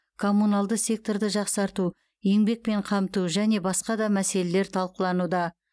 коммуналды секторды жақсарту еңбекпен қамту және басқа да мәселелер талқылануда